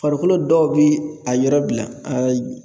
Farikolo dɔw bi a yɔrɔ bila